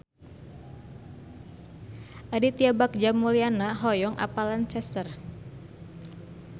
Aditya Bagja Mulyana hoyong apal Lancaster